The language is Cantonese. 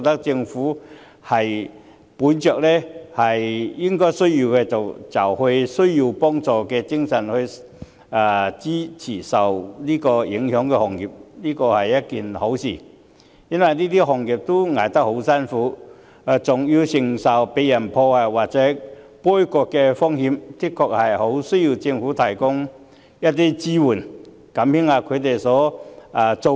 政府本着有需要就幫助的精神來支持受影響的行業，我覺得是一件好事，因為這些行業艱苦經營，還要承受被人破壞或杯葛的風險，的確很需要政府提供支援，減輕一下他們的擔子。